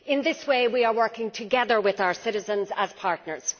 In this way we are working together with our citizens as partners.